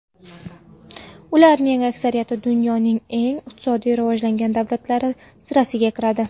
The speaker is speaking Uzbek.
Ularning aksariyati dunyoning eng iqtisodiy rivojlangan davlatlari sirasiga kiradi.